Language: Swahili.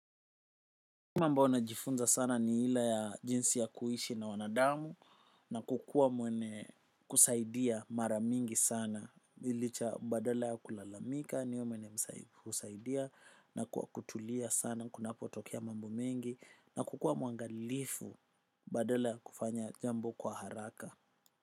Mambo najifunza sana ni ile ya jinsi ya kuishi na wanadamu na kukua mwene kusaidia mara mingi sana licha badala ya kulalamika ni mwene kusaidia na kwa kutulia sana kuna potokea mambo mengi na kukua muangalifu badala ya kufanya jambo kwa haraka.